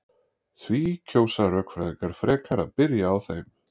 Því kjósa rökfræðingar frekar að byrja á þeim.